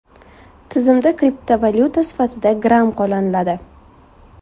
Tizimda kriptovalyuta sifatida Gram qo‘llaniladi.